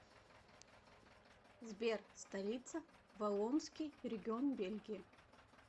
сбер столица валлонский регион бельгии